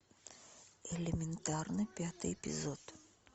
элементарно пятый эпизод